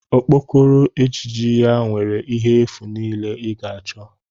Okpokoro ejiji ya nwere ihe efu niile ị ga-achọ